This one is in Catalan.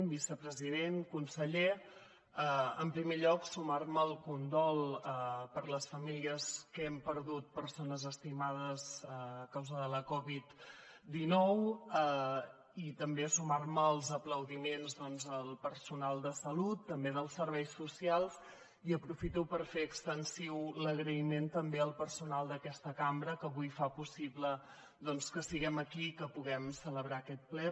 vicepresident conseller en primer lloc sumar me al condol per les famílies que hem perdut persones estimades a causa de la covid dinou i també sumar me als aplaudiments al personal de salut també dels serveis socials i aprofito per fer extensiu l’agraïment també al personal d’aquesta cambra que avui fa possible doncs que siguem aquí que puguem celebrar aquest ple